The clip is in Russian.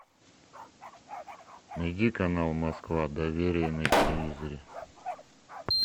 найди канал москва доверие на телевизоре